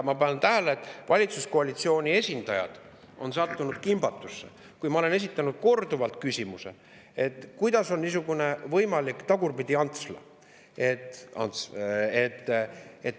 Olen pannud tähele, et valitsuskoalitsiooni esindajad on sattunud kimbatusse, kui ma olen korduvalt esitanud küsimust, kuidas on võimalik niisugune Tagurpidi-Ants.